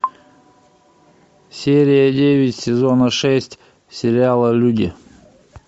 серия девять сезона шесть сериала люди